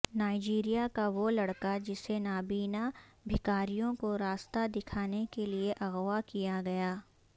Nigeria کا وہ لڑکا جسے نابینا بھکاریوں کو راستہ دکھانے کے لیے اغوا کیا گیا